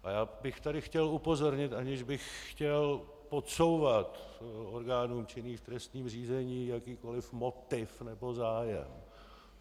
A já bych tady chtěl upozornit, aniž bych chtěl podsouvat orgánům činným v trestním řízení jakýkoliv motiv nebo zájem.